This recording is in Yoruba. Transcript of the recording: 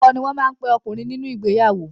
Ọkọ ni wọ́n má ape ọkùnrin nínú ìgbeyàwó.